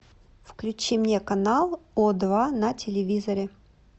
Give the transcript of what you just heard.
включи мне канал о два на телевизоре